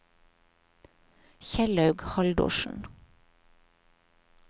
Kjellaug Haldorsen